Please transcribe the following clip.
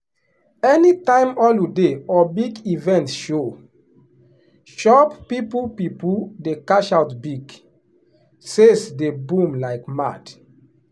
anytime holiday or big event show shop people people dey cash out big — sales dey boom like mad.